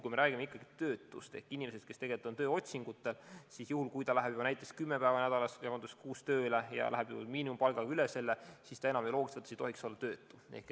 Kui me räägime töötust ehk inimesest, kes tegelikult otsib tööd, siis juhul, kui ta läheb näiteks kuus päeva nädalas tööle ja teenib juba üle miinimumpalga, siis ta enam ju loogiliselt ei tohiks olla töötu staatuses.